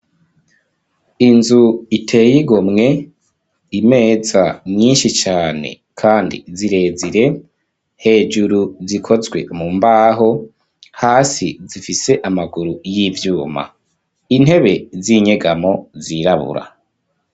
Inzu iteye igomwe, imeza nyinshi cane kandi zirezire, hejuru zikozwe mu mbaho, hasi zifise amaguru y'ivyuma. Intebe z'inyegamo zirabura.